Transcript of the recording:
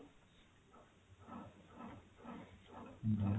ହୁଁ ହୁଁ